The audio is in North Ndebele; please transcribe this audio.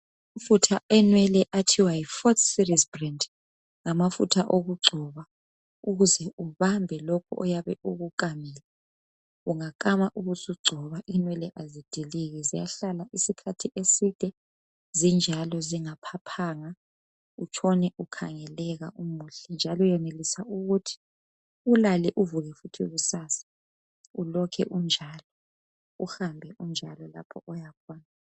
Amafutha enwele athiwa yi forte series breed ngamafutha okugcoba ukuze ubambe lokhu oyabe ukukamile ungakama ubusugcoba inwele azidiliki ziyahlala isikhathi eside zinjalo zingaphaphanga utshone ukhangeleka umuhle njalo uyenelisa ukuthi ulale uvuke futhi kusasa ulokhe unjalo uhambe unjalo lapho oyakhona.